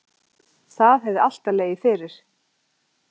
Það hefði alltaf legið fyrir